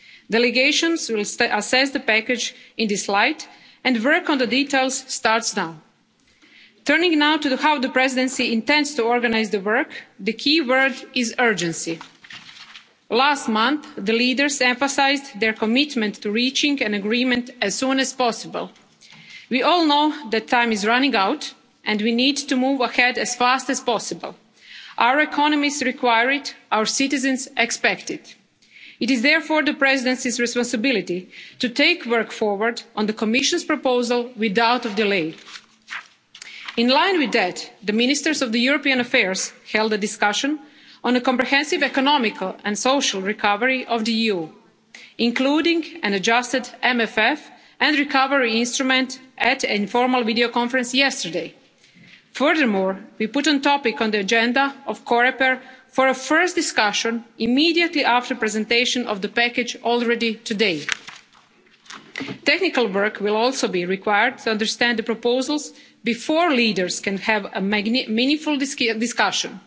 clear. Delegations will assess the package in this light, and work on the details starts now. Turning now to how the Presidency intends to organise the work, the key word is urgency. Last month the leaders emphasised their commitment to reaching an agreement as soon as possible. We all know that time is running out, and we need to move ahead as fast as possible. Our economies require it our citizens expect it. It is therefore the Presidency's responsibility to take work forward on the Commission's proposal without delay. In line with that, the Ministers of European Affairs held a discussion on the comprehensive economical and social recovery of the EU, including an adjusted MFF and a recovery instrument, at an informal video conference yesterday. Furthermore, we put this as a topic on the agenda of COREPER for a first discussion immediately after the presentation of this package today. Technical work will also be required to understand the proposals before leaders can have a meaningful